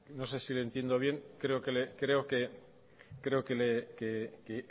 no sé si le entiendo bien creo que